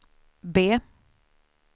B